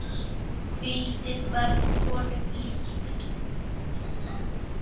Hvíldin varð honum líkn.